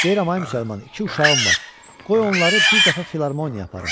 Deyirəm ay müsəlman, iki uşağım var, qoy onları bir dəfə filarmoniya aparım.